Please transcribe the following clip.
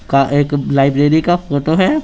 का एक लाइब्रेरी का फोटो है।